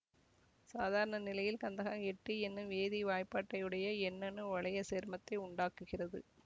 சாதாரண நிலையில் கந்தகம் எட்டு எனும் வேதி வாய்பாட்டையுடைய எண்ணணு வளைய சேர்மத்தை உண்டாக்குகிறது